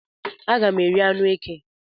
Aga m eri anụ eke